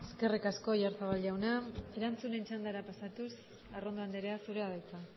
eskerrik asko oyarzabal jauna erantzunen txandara pasatuz arrondo andrea zurea da hitza